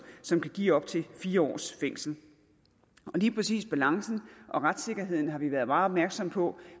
som kan give op til fire års fængsel lige præcis balancen og retssikkerheden har vi været meget opmærksomme på